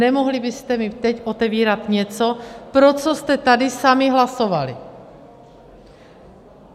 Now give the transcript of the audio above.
Nemohli byste mi teď otevírat něco, pro co jste tady sami hlasovali!